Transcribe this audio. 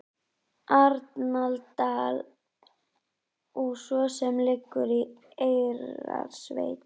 Arnardal og sem leið liggur í Eyrarsveit.